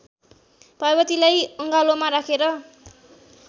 पार्वतीलाई अङ्गालोमा राखेर